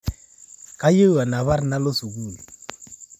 Kayieu anapar nalo sukul